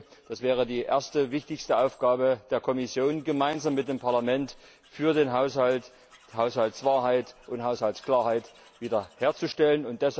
Ich denke, das wäre die erste wichtigste Aufgabe der Kommission gemeinsam mit dem Parlament für den Haushalt, die Haushaltswahrheit und Haushaltsklarheit wiederherzustellen.